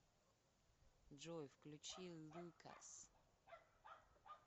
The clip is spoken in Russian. джой включи лукас